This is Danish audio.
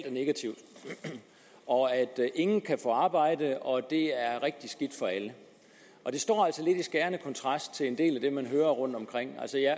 er negativt og at ingen kan få arbejde og at det er rigtig skidt for alle det står altså lidt i skærende kontrast til en del af det man hører rundt omkring altså jeg